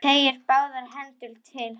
Teygir báðar hendur til hans.